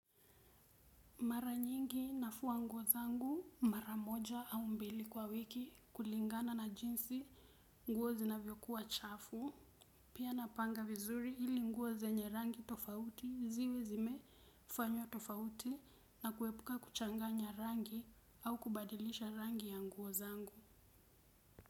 Mara nyingi nafua nguo zangu mara moja au mbili kwa wiki kulingana na jinsi nguo zina vyokuwa chafu. Pia napanga vizuri hili nguo zenye rangi tofauti ziwe zime fanywa tofauti na kuepuka kuchanganya rangi au kubadilisha rangi ya nguo zangu.